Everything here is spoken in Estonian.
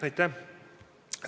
Aitäh!